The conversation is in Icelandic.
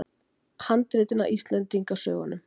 Handritin að Íslendingasögunum?